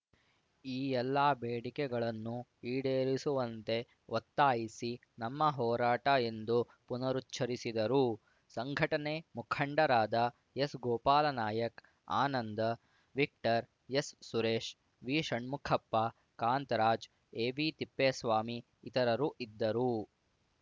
ಈ ಎಲ್ಲಾ ಬೇಡಿಕೆಗಳನ್ನು ಈಡೇರಿಸುವಂತೆ ಒತ್ತಾಯಿಸಿ ನಮ್ಮ ಹೋರಾಟ ಎಂದು ಪುನರುಚ್ಛರಿಸಿದರು ಸಂಘಟನೆ ಮುಖಂಡರಾದ ಎಸ್‌ಗೋಪಾಲ ನಾಯಕ್ ಆನಂದ ವಿಕ್ಟರ್‌ ಎಸ್‌ಸುರೇಶ್ ವಿಷಣ್ಮುಖಪ್ಪ ಕಾಂತರಾಜ್ ಎಬಿತಿಪ್ಪೇಸ್ವಾಮಿ ಇತರರು ಇದ್ದರು